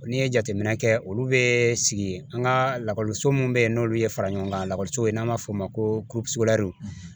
N'i ye jateminɛ kɛ olu bɛ sigi an ka lakɔliso mun bɛ yen n'olu ye fara ɲɔgɔn kan n'an b'a fɔ o ma ko ,